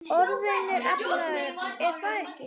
Orðinn efnaður, er það ekki?